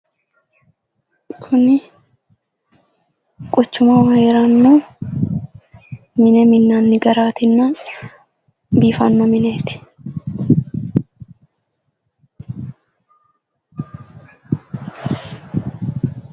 Kuni quchummaho heeranno mine minnanni garaatinna biifanno mineeti.